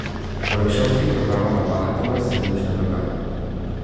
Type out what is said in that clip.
Poleg šolskih programov na maratonu se nič ne dogaja.